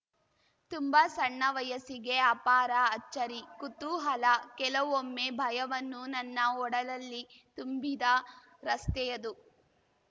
ತುಂಬಾ ಸಣ್ಣ ವಯಸ್ಸಿಗೆ ಅಪಾರ ಅಚ್ಚರಿ ಕುತೂಹಲ ಕೆಲವೊಮ್ಮೆ ಭಯವನ್ನು ನನ್ನ ಒಡಲಲ್ಲಿ ತುಂಬಿದ ರಸ್ತೆಯದು